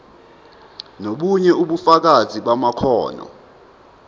nobunye ubufakazi bamakhono